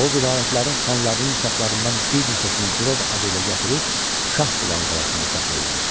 O vilayətlərin xanlarının uşaqlarından bir neçəsini girov adı ilə gətirib Şahbulağı qalasında saxlayırdı.